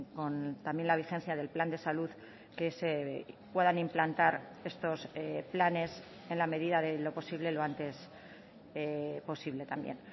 con también la vigencia del plan de salud que se puedan implantar estos planes en la medida de lo posible lo antes posible también